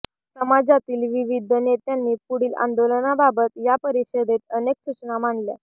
समाजातील विविध नेत्यांनी पुढील आंदोलनाबाबत या परिषदेत अनेक सूचना मांडल्या